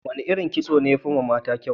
Wane irin kitso ne ya fi yiwa mata kyau?